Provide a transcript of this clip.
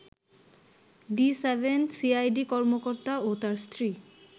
D-7 CID কর্মকর্তা ও তার স্ত্রী